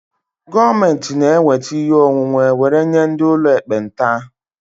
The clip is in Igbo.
Gọọmentị na-eweta ihe onwunwe were nye ndị ụlọ ekpenta